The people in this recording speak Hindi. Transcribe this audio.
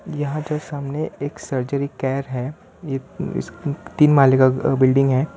यहां जो सामने एक सर्जरी केयर है ये इस तीन माले का बिल्डिंग है।